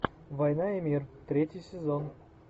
война и мир третий сезон